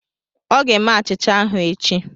Ọ ga-eme achịcha ahụ echi.